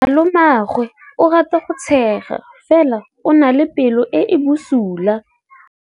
Malomagwe o rata go tshega fela o na le pelo e e bosula.